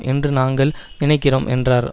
என்று நாங்கள் நினைக்கிறோம் என்றார்